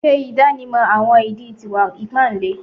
Ṣe idanimọ awọn idi ti iwa-ipa ile